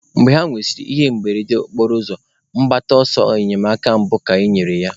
Mgbe ha nwesịrị ihe mberede okporoụzọ, mgbata ọsọ enyemaka mbụ ka enyere ya.